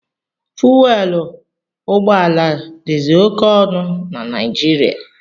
Fuwelu ụgbọala dizi oke ọnụ na Naijiriia.